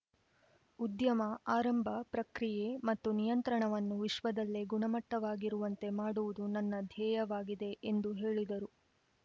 ಉದ್ಯಮ ಆರಂಭ ಪ್ರಕ್ರಿಯೆ ಮತ್ತು ನಿಯಂತ್ರಣವನ್ನು ವಿಶ್ವದಲ್ಲೇ ಗುಣಮಟ್ಟವಾಗಿರುವಂತೆ ಮಾಡುವುದು ನನ್ನ ಧ್ಯೇಯವಾಗಿದೆ ಎಂದು ಹೇಳಿದರು